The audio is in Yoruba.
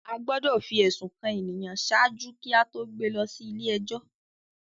A gbọdọ fi ẹsun kan ènìyàn ṣáájú kí a to gbé lọ sí ilé-ẹjọ